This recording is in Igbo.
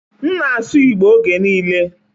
m na-asụ Igbo oge niile